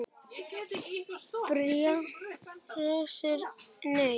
Bjarni Rósar Nei.